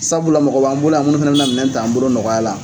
Sabula mɔgɔ b'an bolo yan mun fɛnɛ bɛna minɛ taa an bolo nɔgɔya la.